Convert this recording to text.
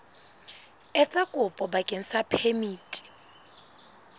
etsa kopo bakeng sa phemiti